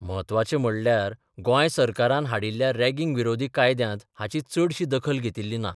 म्हत्वाचें म्हणल्यार गोंय सरकारान हाडिल्ल्या रॅगिंग विरोधी कायद्यांत हाची चडशी दखल घेतिल्ली ना.